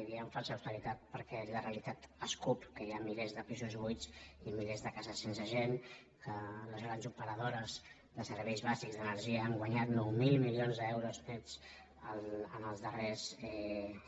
i diem falsa austeritat perquè la realitat escup que hi ha milers de pisos buits i milers de cases sense gent que les grans operadores de serveis bàsics d’energia han guanyat nou mil milions d’euros nets en els darrers